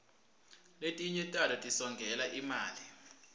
letinye tato tisongela imali